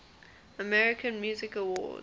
american music awards